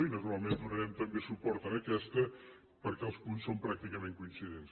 i naturalment donarem també suport a aquesta perquè els punts són pràcticament coincidents